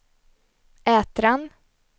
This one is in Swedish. Ätran